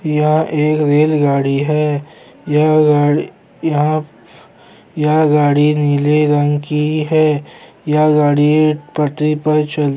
यह एक रेलगाड़ी है यह गाड़ी यहाँ यह गाड़ी नीले रंग की है यह गाड़ी पटरी पर चल--